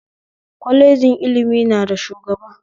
Kwalejin ilimi na da shugaba